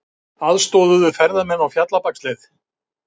Aðstoðuðu ferðamenn á Fjallabaksleið